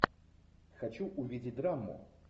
хочу увидеть драму